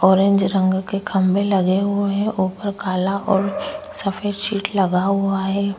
Orange रंग के खंबे लगे हुए हैं ऊपर काला और सफेद शीट लगा हुआ है।